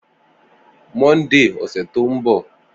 Monday ọsẹ to nbo